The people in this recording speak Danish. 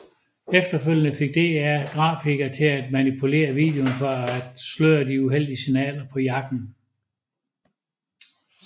Efterfølgende fik DR grafikere til at manipulere videoen for at sløre de uheldige signaler på jakken